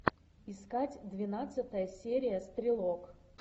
искать двенадцатая серия стрелок